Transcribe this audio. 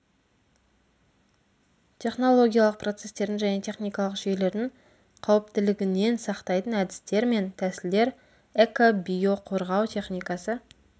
технологиялық процестердің және техникалық жүйелердің қауіптілігінен сақтайтын әдістер мен тәсілдер экобиоқорғау техникасы